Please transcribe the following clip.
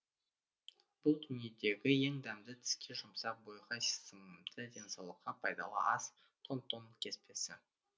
бұл дүниедегі ең дәмді тіске жұмсақ бойға сіңімді денсаулыққа пайдалы ас тон тон кеспесі